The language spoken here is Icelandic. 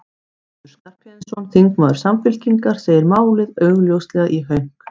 Össur Skarphéðinsson, þingmaður Samfylkingar, segir málið augljóslega í hönk.